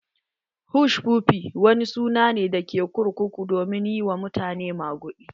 Hushpuppi wani sannane ne da ke kurkuku domin yi wa mutane maguɗi.